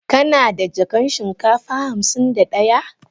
Kana da jakan shinkafa hamsin da daya?